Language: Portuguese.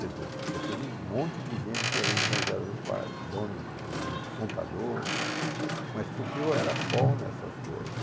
Quer dizer, daquele monte de gente que ia vir em São José do Pardo, donos, contadores, mas porque eu era bom nessas coisas.